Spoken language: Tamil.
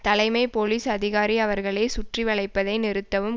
தலைமை போலீஸ் அதிகாரி அவர்களே சுற்றி வளைப்பதை நிறுத்தவும்